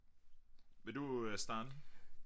Vil du øh starte?